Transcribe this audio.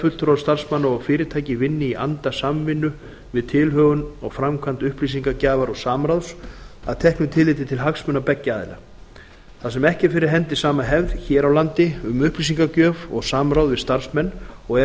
fulltrúar starfsmanna og fyrirtækja vinni í anda samvinnu við tilhögun og framkvæmd upplýsingagjafar og samráðs að teknu tilliti til hagsmuna beggja aðila þar sem ekki er fyrir hendi sama hefð hér á landi um upplýsingagjöf og samráð við starfsmenn og er